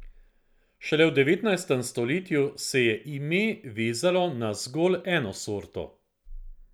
Šele v devetnajstem stoletju se je ime vezalo na zgolj eno sorto.